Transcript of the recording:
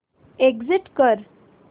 exit कर